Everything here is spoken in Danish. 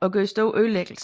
og gjorde store ødelæggelser